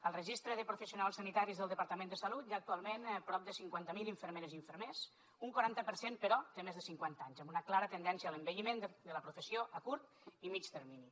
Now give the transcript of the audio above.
al registre de professionals sanitaris del departament de salut hi ha actualment prop de cinquanta mil infermeres i infermers un quaranta per cent però té més de cinquanta anys amb una clara tendència a l’envelliment de la professió a curt i mitjà termini